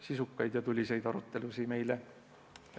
Sisukaid ja tuliseid arutelusid meile!